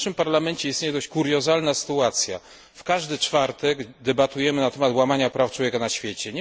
W naszym parlamencie istnieje dość kuriozalna sytuacja w każdy czwartek debatujemy na temat łamania praw człowieka na świecie.